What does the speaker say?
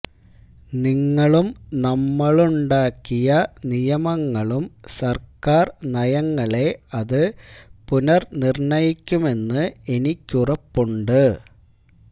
നിങ്ങളും നമ്മളുണ്ടാക്കിയ നിയമങ്ങളും സര്ക്കാര് നയങ്ങളെ അത് പുനര്നിര്ണയിക്കുമെന്നു എനിക്കുറപ്പുണ്ട്